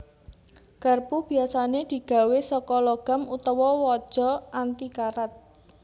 Garpu biyasané digawé saka logam utawa waja anti karat